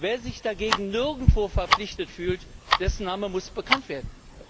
Wer sich dagegen nirgendwo verpflichtet fühlt, dessen Name muss bekannt werden.